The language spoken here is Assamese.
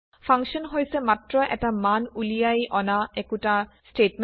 ফাংশ্যন হৈছে মাত্ৰ এটা মান উলিয়াই অনা একোটা বিবৃত্তি